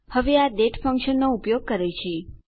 હવે આ ડેટ ફંક્શનનો ઉપયોગ કરે છે